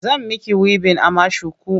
Zan miki wibin amma shuku.